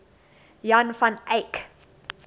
jan van eyck